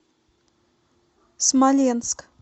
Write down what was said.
смоленск